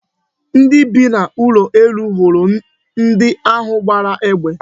Ndị bi n'ụlọ elu hụrụ ndi ahụ gbara egbe.